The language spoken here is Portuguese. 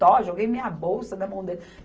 Tó, joguei minha bolsa na mão dele.